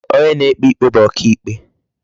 Onye na-ekpe ikpe bu oka ikpe.